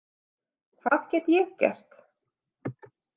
Hvað get ég gert?